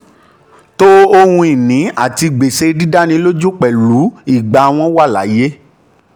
to ohun ìní àti gbèsè dídánilójú pẹ̀lú ìgbà wọ́n wà láàyè.